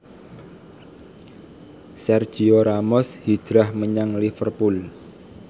Sergio Ramos hijrah menyang Liverpool